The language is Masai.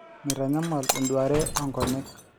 meitanyamal eduare oo nkonyek